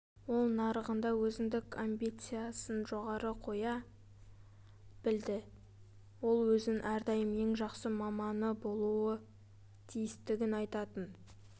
ол нарығында өзіндік амбициясын жоғары қоя білді ол өзін әрдайым ең жақсы маманы болуы тиістігін айтатын